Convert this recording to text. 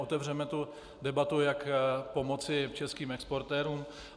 Otevřeme tu debatu, jak pomoci českým exportérům.